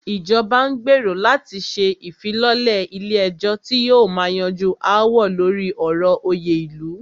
Ìjọba n gbérò láti ṣe ìfilọ́lẹ̀ ilé ẹ̀jọ́ tí yóò máà yanjú aáwọ̀ lórí ọ̀rọ̀ òyè ilu.